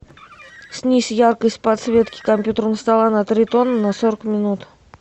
снизь яркость подсветки компьютерного стола на три тона на сорок минут